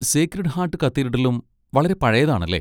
Sacred heart കത്തീഡ്രലും വളരെ പഴയതാണ്, അല്ലേ?